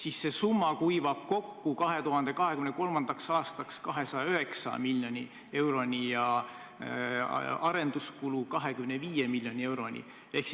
Aastaks 2023 kuivab see summa kokku 209 miljoni euroni ja arenduskulu 25 miljoni euroni.